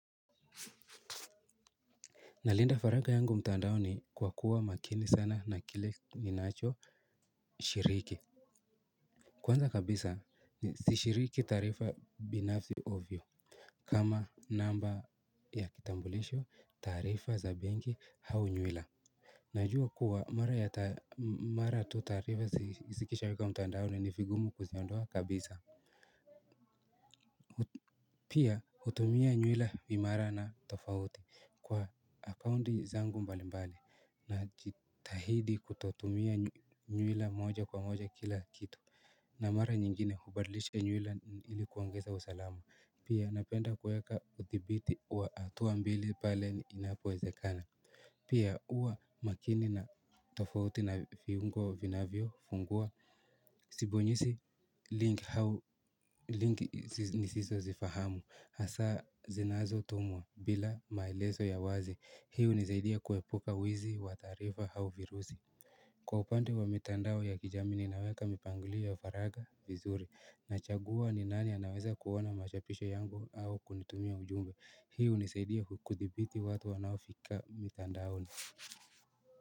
Na linda faragha yangu mtandao ni kwa kuwa makini sana na kile ninacho shiriki. Kwanza kabisa ni sishiriki taarifa binafsi ovyo. Kama namba ya kitambulisho taarifa za benki au nywila najua kuwa mara tu taarifa zikishawekwa mtandaoni ni vigumu kuziondoa kabisa. Pia hutumia nywila imara na tofauti kwa akaunti zangu mbalimbali na jitahidi kutotumia nywila moja kwa moja kila kitu. Na mara nyingine hubadilisha nywila ilikuongeza usalamu. Pia napenda kweka uthibiti wa hatua mbili pale ni inapowezekana. Pia huwa makini na tofauti na viungo vinavyo fungua. Sibonyezi link ni sizo zifahamu hasa zinazo tumwa bila mailezo ya wazi hii hu nisaidia kuepuka wizi wataarifa au virusi. Kwa upande wa mitandao ya kijamii ninaweka mipangilio ya faraga vizuri na chagua ni nani anaweza kuona machapisho yangu au kunitumia ujumbe hii hunisaidia kuthibiti watu wanao fika mitandao ni.